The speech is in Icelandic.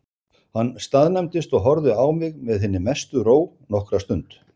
Hann staðnæmdist og horfði á mig með hinni mestu ró nokkra stund.